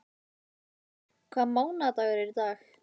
Sverre, hvaða mánaðardagur er í dag?